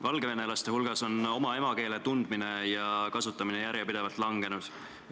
Valgevenelaste hulgas on oma emakeele tundmine ja kasutamine järjepidevalt langenud.